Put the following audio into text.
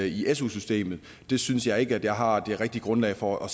i su systemet synes jeg ikke jeg har det rigtige grundlag for og